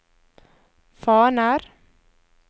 faner